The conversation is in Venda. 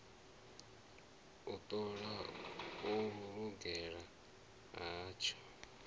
u ṱola u lugela hatsho